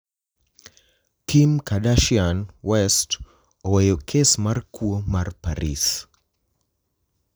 Kim Kardashian West oweyo kes mar kuo mar Paris